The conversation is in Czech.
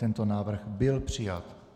Tento návrh byl přijat.